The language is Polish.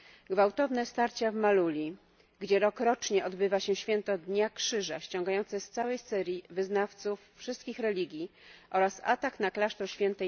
Gwałtowne starcia w Maaluli, gdzie rokrocznie odbywa się Święto Dnia Krzyża sciągające z całej Syrii wyznawców wszystkich religii, oraz atak na klasztor św.